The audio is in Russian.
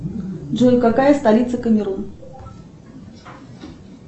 джой какая столица камерун